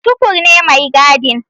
Tukur ne mai gadin.